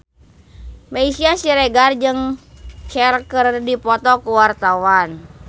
Meisya Siregar jeung Cher keur dipoto ku wartawan